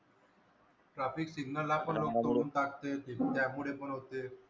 traffic single पण लोक तोडून टाकते त्यामूळे पण होते.